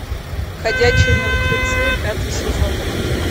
ходячие мертвецы пятый сезон